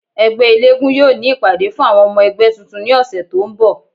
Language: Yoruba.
Ẹgbẹ elégún yoo ni ipade fun awọn ọmọ ẹgbẹ tuntun ni ọsẹ to n bọ